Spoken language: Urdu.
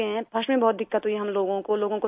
فرسٹ میں بہت دقت ہوئی ہم لوگوں کو